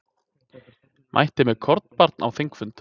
Mætti með kornabarn á þingfund